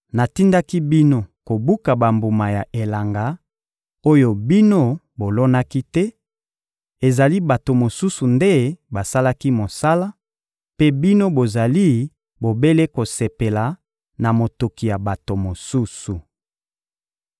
Natindaki bino kobuka bambuma ya elanga oyo bino bolonaki te; ezali bato mosusu nde basalaki mosala, mpe bino bozali bobele kosepela na motoki ya bato mosusu.